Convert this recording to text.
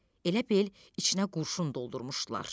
Elə bil içinə qurşun doldurmuşdular.